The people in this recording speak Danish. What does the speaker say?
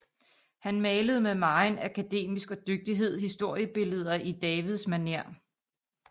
Han malede med megen akademisk dygtighed historiebilleder i Davids manér